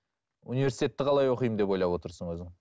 университетті қалай оқимын деп ойлап отырсың өзің